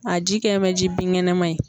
A ji kɛ mɛ ji binkɛnɛma ye.